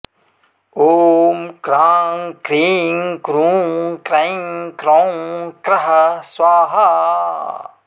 ॐ क्रां क्रीं क्रूं क्रैं क्रौं क्रः स्वाहा